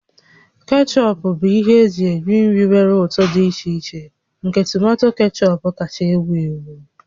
Kechọp bụ ihe eji eri nri nwere ụtọ dị iche iche nke tomato kechọp kacha ewu ewu